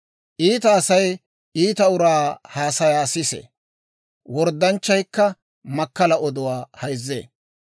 Iita Asay iita uraa haasayaa sisee; worddanchchaykka makkalaa oduwaa hayzzee.